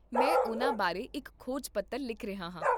ਮੈਂ ਉਹਨਾਂ ਬਾਰੇ ਇੱਕ ਖੋਜ ਪੱਤਰ ਲਿਖ ਰਿਹਾ ਹਾਂ